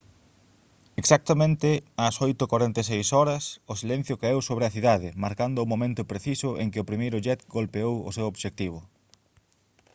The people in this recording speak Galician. exactamente ás 8:46 h o silencio caeu sobre a cidade marcando o momento preciso en que o primeiro jet golpeou o seu obxectivo